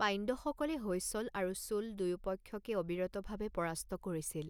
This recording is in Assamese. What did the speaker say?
পাণ্ড্যসকলে হৈসল আৰু চোল দুয়োপক্ষকে অবিৰতভাৱে পৰাস্ত কৰিছিল।